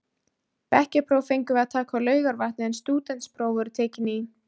Bekkjarpróf fengum við að taka á Laugarvatni en stúdentspróf voru tekin í